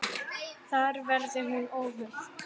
Þar verði hún óhult.